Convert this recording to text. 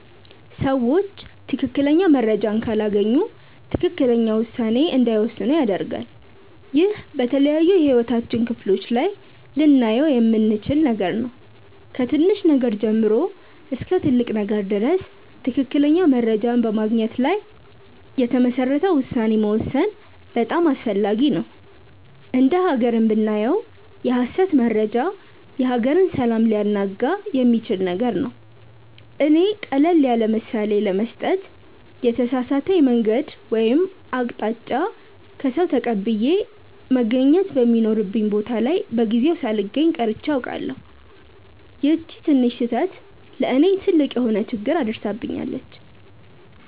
ሰዎች ትክክለኛ መረጃን ካላገኙ ትክክለኛ ውሳኔ እንዳይወስኑ ያደርጋል። ይህ በተለያዩ የህይወታችን ክፍሎች ላይ ልናየው የምንችል ነገር ነው። ከትንሽ ነገር ጀምሮ እስከ ትልቅ ነገር ድረስ ትክክለኛ መረጃን በማግኘት ላይ የተመሰረተ ውሳኔ መወሰን በጣም አስፈላጊ ነው። እንደ ሃገርም ብናየው የሐሰት መረጃ የሀገርን ሰላም ሊያናጋ የሚችል ነገር ነው። እኔ ቀለል ያለምሳሌ ለመስጠት የተሳሳተ የመንገድ ወይም አቅጣጫ ከሰዉ ተቀብዬ መገኘት በሚኖርብኝ ቦታ ላይ በጊዜው ሳልገኝ ቀርቼ አውቃለሁ። ይቺ ትንሽ ስህተት ለእኔ ትልቅ የሆነ ችግር አድርሳብኛለች።